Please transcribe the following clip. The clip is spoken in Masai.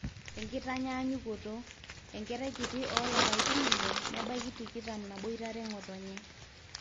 enkitanyanyukoto; enkerai kiti oolapaitin ile nebaiki tikitam naaboitare ng'otonye